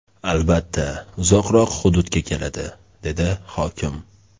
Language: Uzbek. Albatta, uzoqroq hududga keladi”, dedi hokim.